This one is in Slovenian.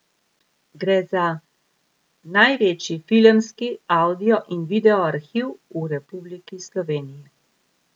Gre za največji filmski, avdio in video arhiv v Republiki Sloveniji.